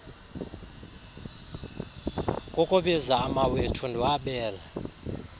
kukubiza amawethu ndiwabele